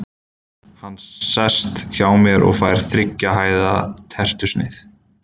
Hann sest hjá mér og fær þriggja hæða tertusneið.